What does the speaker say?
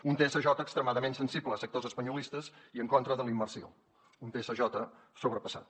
un tsj extremadament sensible a sectors espanyolistes i en contra de la immersió un tsj sobrepassat